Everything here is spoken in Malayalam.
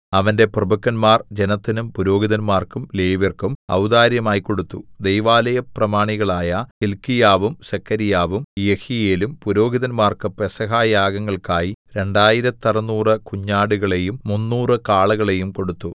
അവന്റെ പ്രഭുക്കന്മാർ ജനത്തിനും പുരോഹിതന്മാർക്കും ലേവ്യർക്കും ഔദാര്യമായി കൊടുത്തു ദൈവാലയ പ്രമാണികളായ ഹില്ക്കീയാവും സെഖര്യാവും യെഹീയേലും പുരോഹിതന്മാർക്ക് പെസഹ യാഗങ്ങൾക്കായി രണ്ടായിരത്തറുനൂറ് കുഞ്ഞാടുകളെയും മുന്നൂറ് കാളകളെയും കൊടുത്തു